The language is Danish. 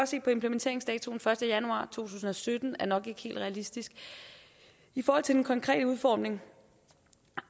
se på implementeringsdatoen den første januar to tusind og sytten er nok ikke helt realistisk i forhold til den konkrete udformning